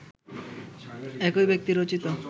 একই ব্যক্তি রচিত